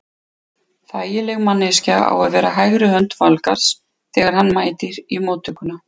Þægileg manneskja á að vera hægri hönd Valgarðs þegar hann mætir í móttökuna.